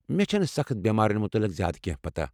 مےٚ چھنہٕ سخٕت بیمارن متعلق زیادٕ کٮ۪نٛہہ پتہ ۔